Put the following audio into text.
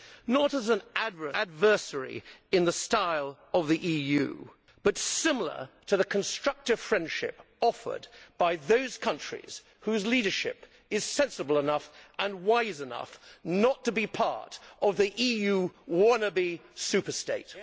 Not as an adversary in the style of the EU, but similarly to the constructive friendship offered by those countries whose leadership is sensible enough and wise enough not to be part of the EU wannabe super state.